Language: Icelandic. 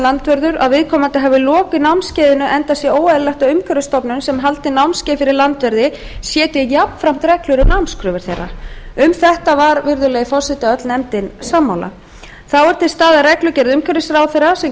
landvörður að viðkomandi hafi lokið námskeiðinu enda sé óeðlilegt að umhverfisstofnun sem haldi námskeið fyrir landverði setji jafnframt reglur um námskröfur þeirra um þetta var virðulegi forseti öll nefndin sammála þá er til staðar reglugerð umhverfisráðherra sem